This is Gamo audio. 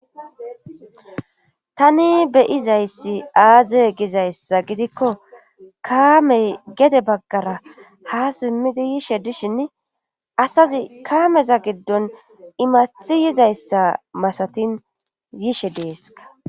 Tani be'izayssi aaze gizayssa gidikko kaamey gedde baggara ha simmidi yishe dishinn asazi kaameza giddon immaththi yizayssa masatin yishe deeskka